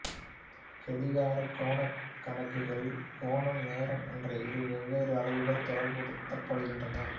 கடிகாரக் கோணக் கணக்குகளில் கோணம் நேரம் என்ற இரு வெவ்வேறு அளவுகள் தொடர்புபடுத்தப்படுகின்றன